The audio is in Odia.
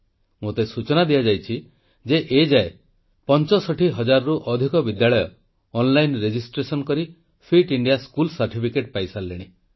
ମୋତେ ସୂଚନା ଦିଆଯାଇଛି ଯେ ଏ ଯାଏ 65000ରୁ ଅଧିକ ବିଦ୍ୟାଳୟ ଅନଲାଇନ୍ ରେଜିଷ୍ଟ୍ରେସନ କରି ଫିଟ୍ ଇଣ୍ଡିଆ ସ୍କୁଲ ସାର୍ଟିଫିକେଟ ପାଇସାରିଲେଣି